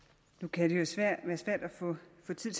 kan